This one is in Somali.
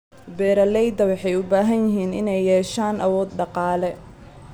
Beeralayda waxay u baahan yihiin inay yeeshaan awood dhaqaale.